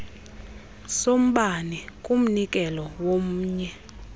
sombane kumnikelo womnye